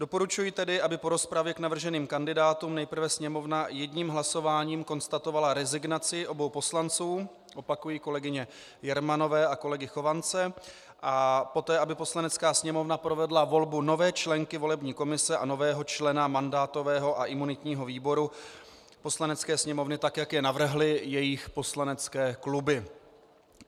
Doporučuji tedy, aby po rozpravě k navrženým kandidátům nejprve Sněmovna jedním hlasováním konstatovala rezignaci obou poslanců, opakuji, kolegyně Jermanové a kolegy Chovance, a poté aby Poslanecká sněmovna provedla volbu nové členky volební komise a nového člena mandátového a imunitního výboru Poslanecké sněmovny tak, jak je navrhly jejich poslanecké kluby.